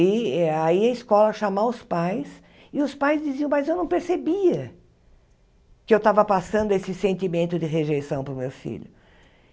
E aí a escola ia chamar os pais e os pais diziam, mas eu não percebia que eu estava passando esse sentimento de rejeição para o meu filho.